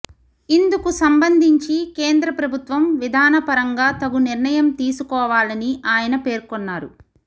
ఇందుకు సంబంధించి కేంద్ర ప్రభుత్వం విధానపరంగా తగు నిర్ణయం తీసుకోవాలని ఆయన పేర్కొన్నారు